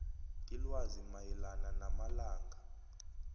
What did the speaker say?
ilwazi mayelana namalanga